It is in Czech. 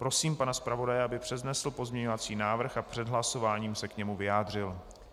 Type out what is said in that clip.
Prosím pana zpravodaje, aby přednesl pozměňovací návrh a před hlasováním se k němu vyjádřil.